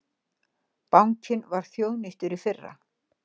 Bankinn var þjóðnýttur í fyrra